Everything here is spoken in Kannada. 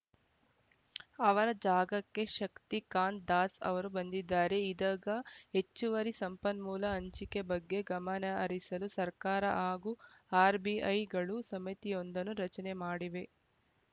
ಅವರ ಜಾಗಕ್ಕೆ ಶಕ್ತಿಕಾಂತ ದಾಸ್‌ ಅವರು ಬಂದಿದ್ದಾರೆ ಇದಗ ಹೆಚ್ಚುವರಿ ಸಂಪನ್ಮೂಲ ಹಂಚಿಕೆ ಬಗ್ಗೆ ಗಮನಹರಿಸಲು ಸರ್ಕಾರ ಹಾಗೂ ಆರ್‌ಬಿಐಗಳು ಸಮಿತಿಯೊಂದನ್ನು ರಚನೆ ಮಾಡಿವೆ